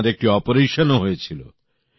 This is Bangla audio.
আপনার একটি অপারেশনও হয়েছিল